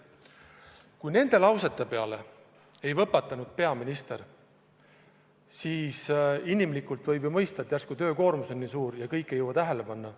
Kui peaminister nende sõnade peale ei võpatanud, siis inimlikult võib ju mõista, et äkki on tema töökoormus nii suur ja kõike ei jõua tähele panna.